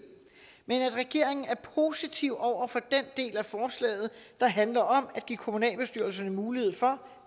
men at regeringen er positiv over for den del af forslaget der handler om at give kommunalbestyrelserne mulighed for